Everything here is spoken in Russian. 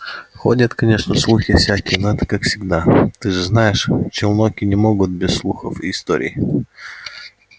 ходят конечно слухи всякие но это как всегда ты же знаешь челноки не могут без слухов и историй